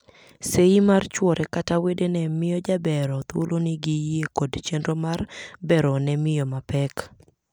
Seyi mar chwore kata wedene miyo jabero thuolo ni giyie kod chenro mar bero ne miyo ma pek.